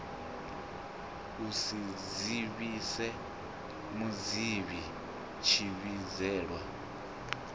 u si dzivhise muvhidzi tshivhidzelwa